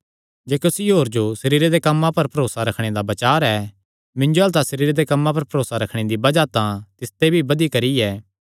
जे कुसी होर जो सरीरे दे कम्मां पर भरोसा रखणे दा बचार ऐ मिन्जो अल्ल तां सरीरे दे कम्मां पर भरोसा रखणे दी बज़ाह तां तिसते भी बधी करी ऐ